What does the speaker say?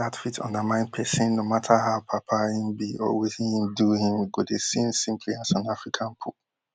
dat fit undermine pesin no matter how papal im be or wetin im do im go dey seen simply as an african pope